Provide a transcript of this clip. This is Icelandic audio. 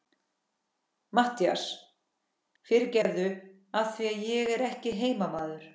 MATTHÍAS: Fyrirgefðu, af því ég er ekki heimamaður.